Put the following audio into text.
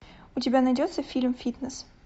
у тебя найдется фильм фитнес